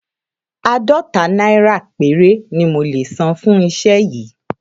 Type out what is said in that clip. Àádọ́ta náírà péré ni mo lè san fún iṣẹ́ yìí